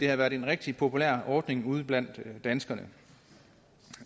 at være en rigtig populær ordning ude blandt danskerne